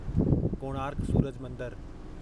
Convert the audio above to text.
कोणार्क सूरज मंदरु